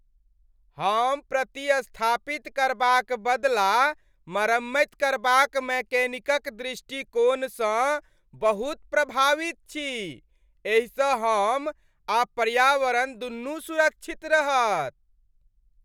हम प्रतिस्थापित करबाक बदला मरम्मति करबाक मैकेनिकक दृष्टिकोणसँ बहुत प्रभावित छी। एहिसँ हम आ पर्यावरण दुनू सुरक्षित रहत।